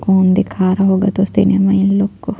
कौन दिखा रहा होगा दोस्तों इन माईन लोग को --